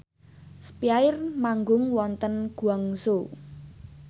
spyair manggung wonten Guangzhou